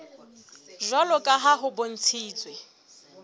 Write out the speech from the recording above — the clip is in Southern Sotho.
jwalo ka ha ho bontshitswe